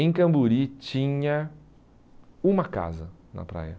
Em Camburi tinha uma casa na praia.